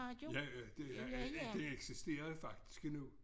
Ja det det eksisterer faktisk endnu